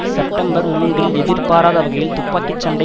September மூன்றில் எதிர்பாராத வகையில் துப்பாக்கி சண்டை